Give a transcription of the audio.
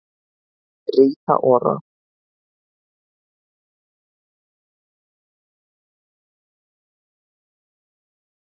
Rita Ora